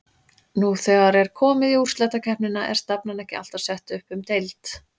Nú þegar er komið í úrslitakeppnina er stefnan ekki alltaf sett upp um deild?